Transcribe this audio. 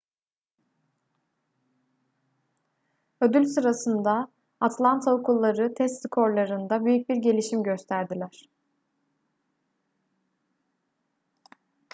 ödül sırasında atlanta okulları test skorlarında büyük bir gelişim gösterdiler